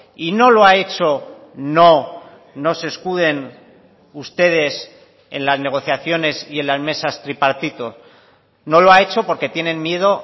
y no lo ha hecho no no se escuden ustedes en las negociaciones y en las mesas tripartito no lo ha hecho porque tienen miedo